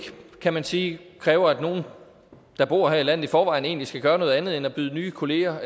kan man sige kræver at nogen der bor her i landet i forvejen egentlig skal gøre noget andet end at byde nye kollegaer